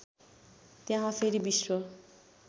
त्यहा फेरि विश्व